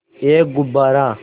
एक गुब्बारा